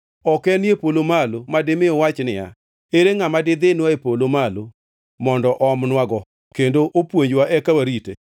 Ok enie polo malo madimi uwach niya, “Ere ngʼama didhinwa e polo malo mondo oomnwago kendo opuonjwa eka warite?”